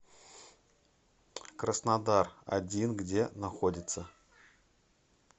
краснодар один где находится